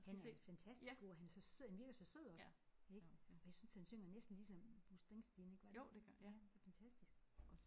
Han er fantastisk god og han er så sød han virker så sød også ik og jeg synes han synger næsten ligesom Bruce Springsteen ik ja det er fantastisk